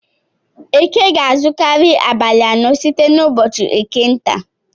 Eke ga-azukari abalị anọ site n'ụbọchị eke nta.